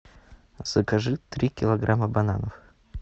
закажи три килограмма бананов